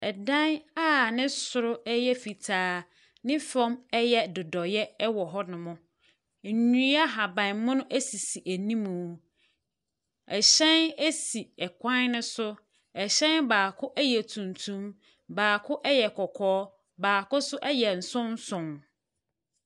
Ɛdan a ne soro yɛ fitaa, ne fam yɛ dodoeɛ wɔ hɔnom. Nnua ahabammono sisi anim. Ɛhyɛn si kwan no so. Hyɛn baako yɛ tuntum, baako yɛ kɔkɔɔ, baako nso yɛ nsonson.